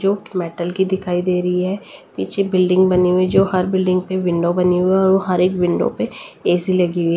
जो मेटल की दिखाई दे रही है पीछे बिल्डिंग बनी हुई जो हर बिल्डिंग प विंडो बनी हुई है और हर एक विंडो पे ए_सी लगी हुई है।